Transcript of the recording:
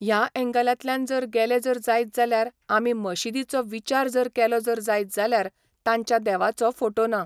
ह्या ऍंगलातल्यान जर गेले जर जायत जाल्यार आमी मशीदीचो विचार जर केलो जर जायत जाल्यार तांच्या देवाचो फोटो ना